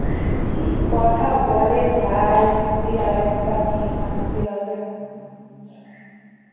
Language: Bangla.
কি কথা বলে ভাই তুই আর একটা মেয়ে মানতে হবে